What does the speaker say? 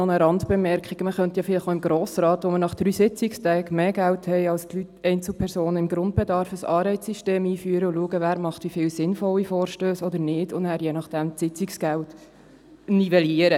Man könnte vielleicht auch im Grossen Rat, wo wir nach drei Sitzungstagen mehr Geld erhalten als Einzelpersonen im Grundbedarf, ein Anreizsystem einführen und schauen, wer wie viele sinnvolle Vorstösse macht oder nicht und nachher je nachdem das Sitzungsgeld nivellieren.